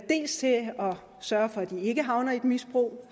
sørge for at de ikke havner i et misbrug og